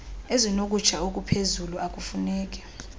ezinokutsha okuphezulu okufuneki